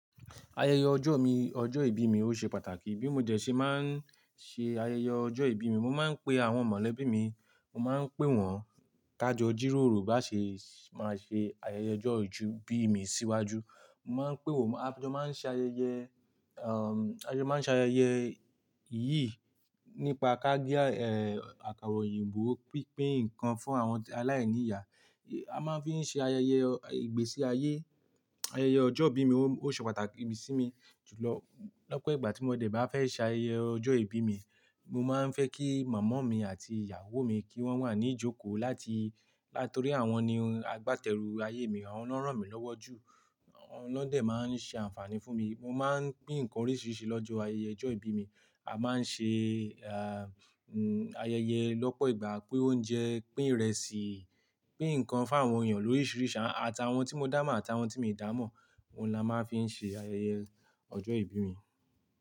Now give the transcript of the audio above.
Ayẹyẹ ọjọ́ mi, ọjọ́ ìbí mi ó ṣe pàtàkì. Bí mo jẹ̀ ṣe máa ń ṣe ayẹyẹ ọjọ́ ìbí mi, mo máa ń pe àwọn mọ̀lẹ́bí mi, mo máa ń pè wọ́n tájọ jíróòró bá ṣe, máa ṣe ayẹyẹ ọjọ́ ìbí mi síwájú. Mo máa ń pè wọ́n, a jo máa ṣe ayẹyẹ, ayẹyẹ máa ń ṣe ayẹyẹ yìí nípa káge, àkàra òyìnbó, pínpin nǹkan fún àwọn aláìní ìyá. A máa ń fi ṣe ayẹyẹ ìgbésí ayé. Ayẹyẹ ọjọ́ ìbí mi ó ṣe pàtàkì sí mi. Lọ́pọ̀ ìgbà tí mo dẹ̀ bá fẹ́ ṣe ayẹyẹ ọjọ́ ìbí mi, mo máa ń fẹ́ kí màmá mi àti ìyàwó mi kí wọ́n wà ní ìjókòó láti, nítorí àwọn ni agbátẹrù ayé mi, àwọn náà ràn mí lọ́wọ́ jù. Awon náà dè máa ń ṣe àǹfààní fún mi. Mo máa ń pín nǹkan oríṣiríṣi lọ́jọ́ ayẹyẹ ọjọ́ ìbí mi. A máa ń ṣe, ayẹyẹ lọ́pọ̀ ìgbà, pín oúnjẹ, pín ìrẹsì, pín ǹkan fún àwọn èèyàn lóríṣiríṣi, àtàwọn tí mo dá mó, àtàwọn tí mi dà mó. Ohun la máa ń fi ṣe ayẹyẹ ọjọ́ ìbí mi.